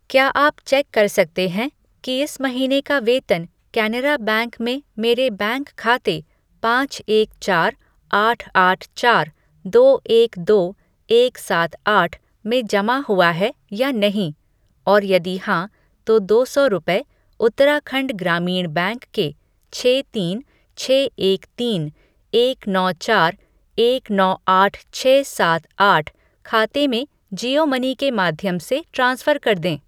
क्या आप चेक कर सकते हैं कि इस महीने का वेतन कैनरा बैंक में मेरे बैंक खाते पाँच एक चार आठ आठ चार दो एक दो एक सात आठ में जमा हुआ है या नहीं और यदि हाँ, तो दो सौ रुपये उत्तराखंड ग्रामीण बैंक के छः तीन छः एक तीन एक नौ चार एक नौ आठ छः सात आठ खाते में जियो मनी के माध्यम से ट्रांसफ़र कर दें?